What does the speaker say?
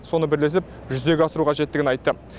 соны бірлесіп жүзеге асыру қажеттігін айтты